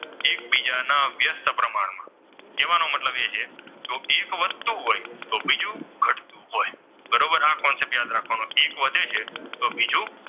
અને એક વધે છે તો બીજું,